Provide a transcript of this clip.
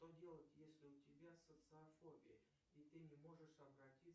что делать если у тебя социофобия и ты не можешь обратиться